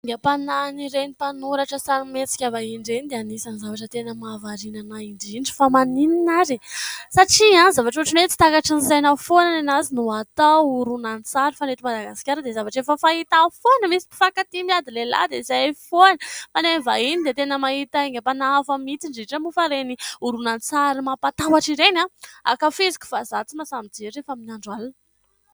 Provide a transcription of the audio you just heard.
Aingam-panahin'ireny mpanoratra sarimihetsika vahiny ireny dia anisany zavatra tena mahavariana ahy indrindra. Fa maninona ary ? Satria zavatra ohatrin'ny hoe tsy takatry ny sainao foana ny azy no atao horonatsary. Fa ny eto Madagasikara dia zavatra efa fahita foana. Misy mpifankatia miady lehilahy dia izay foana ! Fa ny an'ny vahiny dia tena mahita aingam-panahy hafa mihitsy, indrindra moa fa ireny horonantsary mampatahotra ireny, ankafiziko ! Fa izaho tsy mahasahy mijery rehefa amin'ny andro alina.